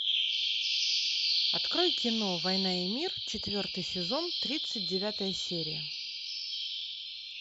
открой кино война и мир четвертый сезон тридцать девятая серия